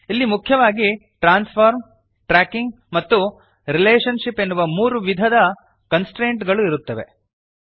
ಇಲ್ಲಿ ಮುಖ್ಯವಾಗಿ transform tracking ಮತ್ತು ರಿಲೇಷನ್ಶಿಪ್ ಎನ್ನುವ ಮೂರು ವಿಧದ ಕನ್ಸ್ಟ್ರೇಂಟ್ ಗಳು ಇರುತ್ತವೆ